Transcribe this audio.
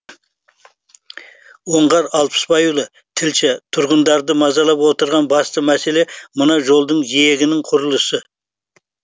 оңғар алпысбайұлы тілші тұрғындарды мазалап отырған басты мәселе мына жолдың жиегінің құрылысы